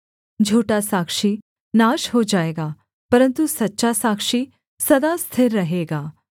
झूठा साक्षी नाश हो जाएगा परन्तु सच्चा साक्षी सदा स्थिर रहेगा